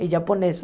É japonesa.